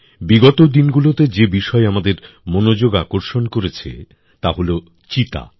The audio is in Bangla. বিগত দিনগুলোতে যে বিষয় আমাদের মনযোগ আকর্ষণ করেছে তা হল চিতা